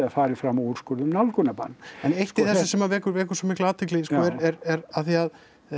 farið fram á úrskurð um nálgunarbann en eitt í þessu sem að vekur vekur svo mikla athygli sko er af því að